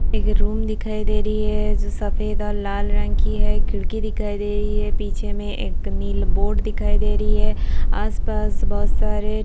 एक रूम दिखाई दे रही है जो सफेद और लाल रंग की है खिड़की दिखाई दे रही है पीछे में एक नील बोर्ड दिखाई दे रही है आस-पास बहुत सारे --